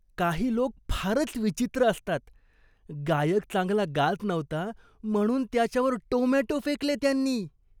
काही लोक फारच विचित्र असतात. गायक चांगला गात नव्हता म्हणून त्याच्यावर टोमॅटो फेकले त्यांनी.